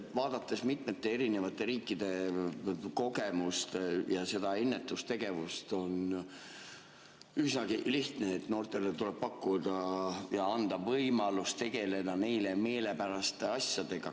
Vaadates mitmete riikide kogemust ja seda ennetustegevust, on üsnagi lihtne: noortele tuleb anda võimalus tegeleda neile meelepäraste asjadega.